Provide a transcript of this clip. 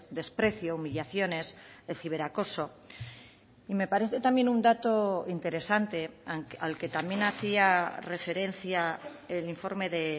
desprecio humillaciones el ciberacoso y me parece también un dato interesante al que también hacía referencia el informe de